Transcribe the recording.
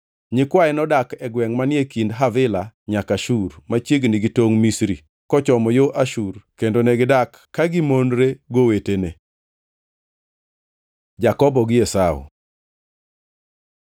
Nyikwaye nodak e gwengʼ manie kind Havila nyaka Shur, machiegni gi tongʼ Misri kochomo yo Ashur kendo negidak kagimonre gowetene. Jakobo gi Esau